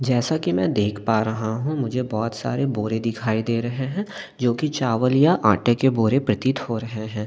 जैसा कि मैं देख पा रहा हूँ मुझे बहुत सारे बोरे दिखाई दे रहे हैं जो कि चावल या आटे के बोरे प्रतीत हो रहे हैं।